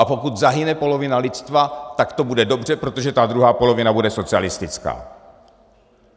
A pokud zahyne polovina lidstva, tak to bude dobře, protože ta druhá polovina bude socialistická.